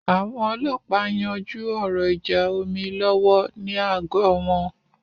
Àwọn ọlọ́ọ̀pá ń yanjú ọ̀rọ̀ ìjà omi lọ́wọ́ ní àgọ́ wọn